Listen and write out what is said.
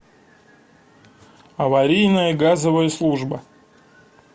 аварийная газовая служба